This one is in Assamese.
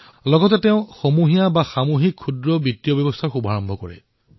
লগতে সম্প্ৰদায় আধাৰিত লঘূ বিত্তীয় ব্যৱস্থাৰো প্ৰণয়ন কৰিছিল